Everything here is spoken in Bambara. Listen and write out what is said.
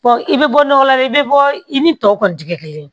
i bɛ bɔ nɔgɔ la dɛ i bɛ bɔ i ni tɔw kɔni tɛ kɛ kelen ye